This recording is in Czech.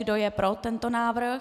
Kdo je pro tento návrh?